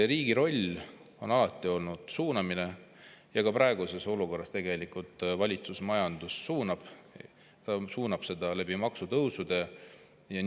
Riigi roll on alati olnud suunamine ja ka praeguses olukorras tegelikult valitsus suunab majandust, suunab seda maksutõusude kaudu.